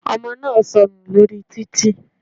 Ọmọ náà sọnù lórí títì.